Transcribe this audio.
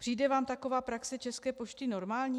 Přijde vám taková praxe České pošty normální?